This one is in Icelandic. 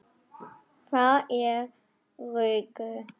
Það er rökkur.